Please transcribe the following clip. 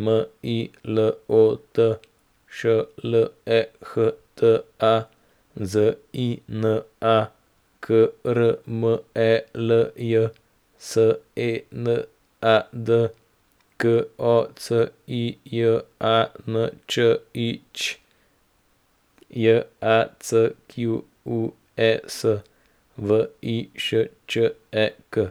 M I L O T, Š L E H T A; Z I N A, K R M E L J; S E N A D, K O C I J A N Č I Ć; J A C Q U E S, V I Š Č E K.